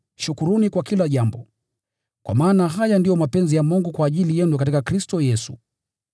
shukuruni kwa kila jambo, kwa maana haya ndiyo mapenzi ya Mungu kwa ajili yenu katika Kristo Yesu.